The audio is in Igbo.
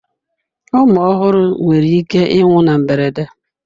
Ụmụ ọhụrụ nwere ike ịnwụ na mberede.